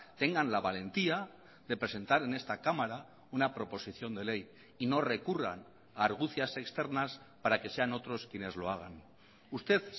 tengan la valentía de presentar en esta cámara una proposición de ley y no recurran a argucias externas para que sean otros quienes lo hagan usted